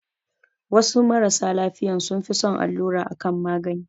Wasu marasa lafiyan sun fi son allura a kan magani